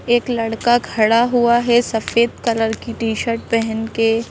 एक लड़का खड़ा हुआ है सफेद कलर की टी-शर्ट पहन के।